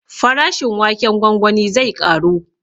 Farashin waken gwangwani zai ƙaru